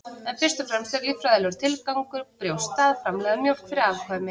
en fyrst og fremst er líffræðilegur tilgangur brjósta að framleiða mjólk fyrir afkvæmi